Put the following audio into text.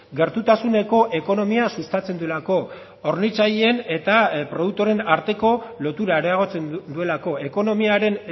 gertutasuneko ekonomia sustatzen duelako hornitzaileen eta produktoreen arteko lotura areagotzen duelako ekonomiaren